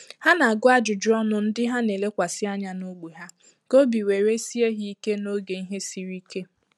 Ha na-agụ ajụjụ ọnụ ndị ha na elekwasi ànyà n’ógbè ha ka obi were sie ha ike n’oge ihe siri ike.